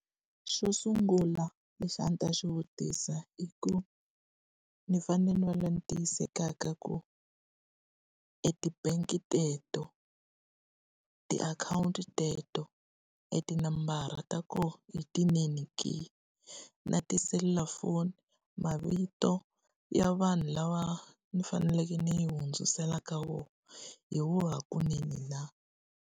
Xo sungula lexi a ndzi ta xi vutisa i ku, ni fanele ni va loyi ni tiyisisaka ku e ti-bank teto, tiakhawunti teto, e tinambara ta kona i tinene ke? Na tiselulafoni, mavito ya vanhu lava ni faneleke ni yi hundzisela ka wona, hi wona hakunene na?